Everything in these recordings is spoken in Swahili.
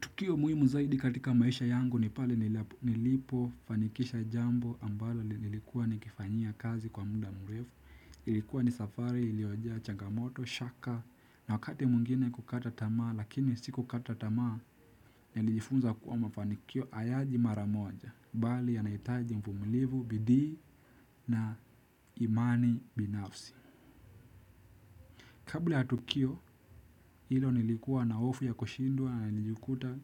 Tukio muhimu zaidi katika maisha yangu ni pale nilipo fanikisha jambo ambalo nilikuwa ni kifanyia kazi kwa muda mrefu. Ilikuwa ni safari, ilioja, changamoto, shaka na wakati mwingine kukata tamaa lakini sikukata tamaa nilijifunza kuwa mafanikio hayaji maramoja. Bali yanahitaji mvumilivu, bidii na imani binafsi. Kabla ya tukio hilo, nilikuwa na hofu ya kushindwa na nilijukuta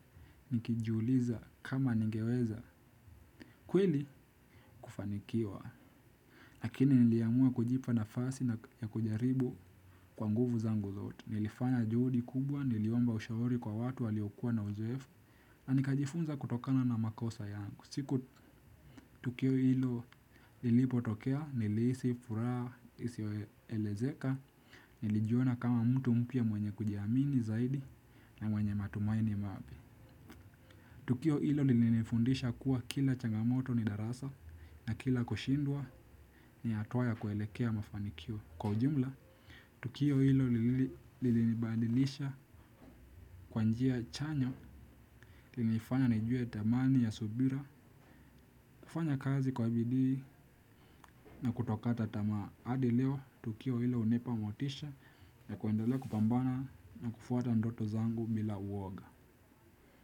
nikijiuliza kama ningeweza kweli kufanikiwa. Lakini niliamua kujipa nafasi na kujaribu kwa nguvu zangu zote. Nilifanya juhudi kubwa, niliomba ushauri kwa watu waliokua na uzoefu na nikajifunza kutokana na makosa yangu. Siku tukio hilo lilipo tokea, nilihisi furaha, isiyoelezeka, nilijuona kama mtu mpya mwenye kujiamini zaidi. Na mwenye matumaini mapya. Tukio hilo lilinifundisha kuwa kila changamoto ni darasa na kila kushindwa ni hatua ya kwelekea mafanikio. Kwa ujumla, tukio hilo lilinibadilisha kwa njia chanyo, lilinifanya nijue dhamani ya subira. Kufanya kazi kwa bidii na kutokata tamaa hadi leo tukio hilo hunipa motisha ya kwendelea kupambana na kufwata ndoto zangu bila uoga.